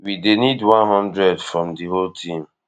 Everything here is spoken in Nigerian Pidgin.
we dey need one hundred from di whole team